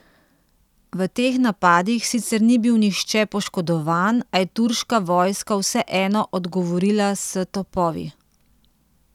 V teh napadih sicer ni bil nihče poškodovan, a je turška vojska vseeno odgovorila s topovi.